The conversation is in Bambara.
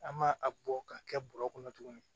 An ma a bɔ k'a kɛ bɔrɛ kɔnɔ tuguni